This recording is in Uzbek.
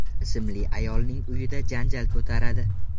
ismli ayolning uyida janjal ko‘taradi.